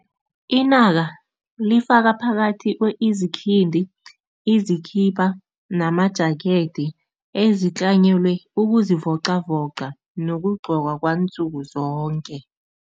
Inaka lifaka phakathi kwezikhindi, izikhipa nama-jacket ezitlanyelwe ukuzivocavoca nokugqokwa kwansuku zonke.